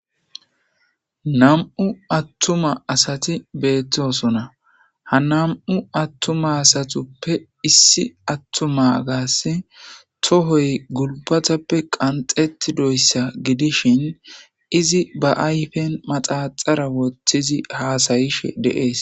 Nam'u attuma asati beettosona ha nam'u attuma asatuppe issi attuma gaase tohoy gulbatappe qanxeti doyssa gidishin izi ba ayfen maxaxara woththizi haasayishe deees.